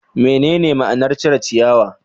Menene ma'anar cire ciyawa?